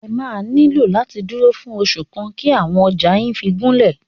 Ẹ máa nílò láti dúró fún oṣù kan kí àwọn ọjà yín fí gúnlẹ̀.